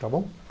Tá bom?